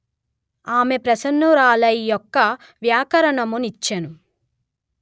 ఆమె ప్రసన్నురాలై యొక వ్యాకరణము నిచ్చెను